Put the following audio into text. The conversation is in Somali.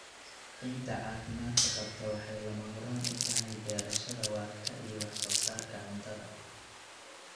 Ciidda caafimaadka qabta waxay lama huraan u tahay beerashada waarta iyo wax soo saarka cuntada.